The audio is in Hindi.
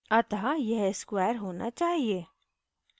अतः यह square होना चाहिए